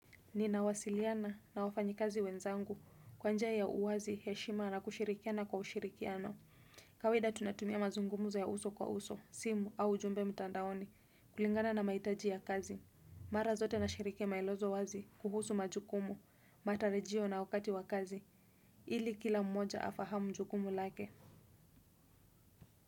Nina wasiliana na wafanyikazi wenzangu kwa njia ya uwazi heshima na kushirikiana kwa ushirikiano. Kawaida tunatumia mazungumzo ya uso kwa uso, simu au ujumbe mtandaoni kulingana na mahitaji ya kazi. Mara zote nashiriki maelezo wazi kuhusu majukumu, matarajio na wakati wa kazi, ili kila mmoja afahamu jukumu lake.